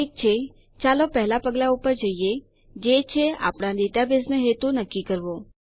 ઠીક છે ચાલો પહેલા પગલાં પર જઈએ જે છે આપણા ડેટાબેઝનો હેતુ નક્કી કરવો